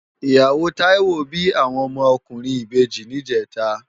Iyáwó Taiwo bi áwòn òmò òkúrin ibèji nijètá